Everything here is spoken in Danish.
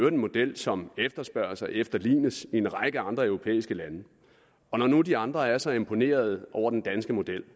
en model som efterspørges og efterlignes i en række andre europæiske lande og når nu de andre er så imponerede over den danske model